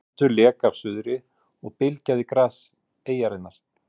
Vindur lék af suðri og bylgjaði gras eyjarinnar.